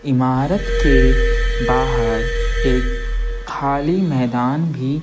इमारत के बाहर एक खाली मैदान भी --